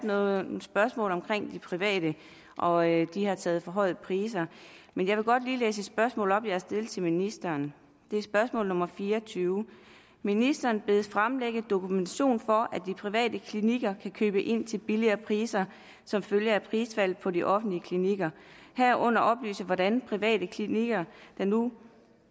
været nogle spørgsmål om de private og at de har taget for høje priser men jeg vil godt lige læse et spørgsmål op jeg har stillet til ministeren det er spørgsmål nummer 24 ministeren bedes fremlægge dokumentation for at de private klinikker kan købe ind til billigere priser som følge af prisfaldet på de offentlige klinikker herunder oplyse hvordan private klinikker der nu